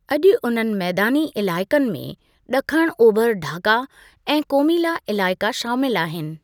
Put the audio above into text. अॼु उन्हनि मैदानी इलाइक़नि में ॾखण ओभर ढाका ऐं कोमिला इलाइक़ा शामिलु आहिनि।